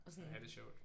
Og have det sjovt